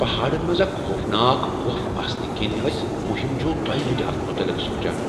پہاڑن منز اكھ خوفناك گۄپھ آسنہٕ كِنہِ ٲسۍ مُہِم جوٗ دویہ لٕٹہِ اتھ متعلق سونچان ۔